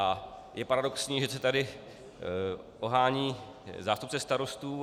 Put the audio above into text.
A je paradoxní, že se tady ohání zástupce starostů.